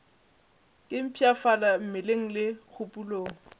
ke mpshafala mmeleng le kgopolong